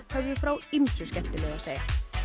höfðu frá ýmsu skemmtilegu að segja